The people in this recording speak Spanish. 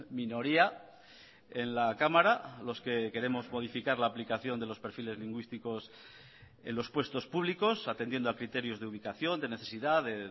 minoría en la cámara los que queremos modificar la aplicación de los perfiles lingüísticos en los puestos públicos atendiendo a criterios de ubicación de necesidad de